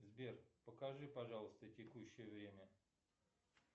сбер покажи пожалуйста текущее время